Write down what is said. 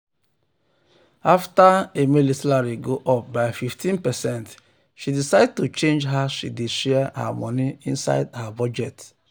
after um emily salary go up by 15 percent she decide to change how she dey share her money inside her budget.